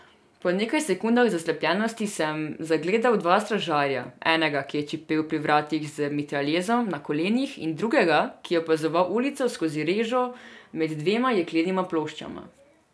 Po nekaj sekundah zaslepljenosti sem zagledal dva stražarja, enega, ki je čepel pri vratih z mitraljezom na kolenih, in drugega, ki je opazoval ulico skozi režo med dvema jeklenima ploščama.